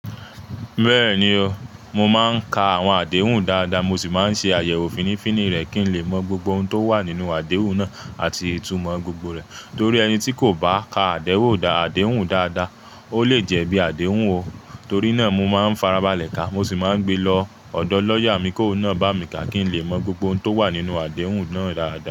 Bẹ́ẹ̀ni o, mo máa ń ka àwọn àdéhùn dáadáa, mo sì máa ń ṣe àyẹ̀wò fínnífínní rẹ̀ kí n lè mọ gbogbo ohun tó wà nínú àdéhùn náà àti ìtumọ̀ gbogbo rẹ̀. Torí ẹni tí kò bá ka àdéhùn dáadáa, ó lè jẹ̀bi àdéhùn o. Torí náà, mo máa ń farabalẹ̀ ka, mo sì máa ń gbe lọ ọ̀dọ̀ lọ́yà mi kó náà bá mi ka kí n lè mọ gbogbo ohun tó wà nínú àdéhùn náà dáadáa.